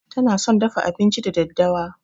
Tana son dafa abinci da daddawa.